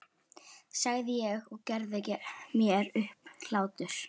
sagði ég og gerði mér upp hlátur.